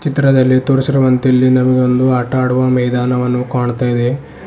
ಚಿತ್ರದಲ್ಲಿ ತೋರಿಸಿರುವಂತೆ ಇಲ್ಲಿ ನಮಗೆ ಒಂದು ಆಟ ಆಡುವ ಮೈದಾನವನ್ನು ಕಾಣ್ತಾ ಇದೆ.